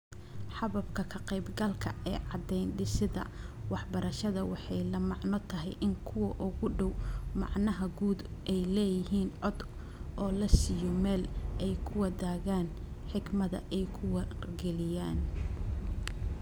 Hababka ka-qaybgalka ee caddayn-dhisidda waxbarashada waxay la macno tahay in kuwa ugu dhow macnaha guud ay leeyihiin cod oo la siiyo meel ay ku wadaagaan xikmado ay ku wargeliyaan.